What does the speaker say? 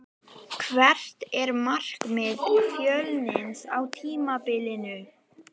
Hvert er markmið Fjölnis á tímabilinu?